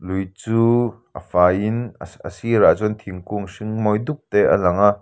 lui chu a fai in a a sirah chuan thingkung hring mawi dup te a lang a.